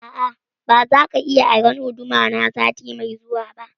A'a, ba za ka iya aron guduma na sati mai zuwa ba